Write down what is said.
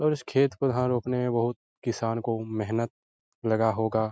और उस खेत को यहाँ रोकने में बहोत किसान को मेहनत लगा होगा।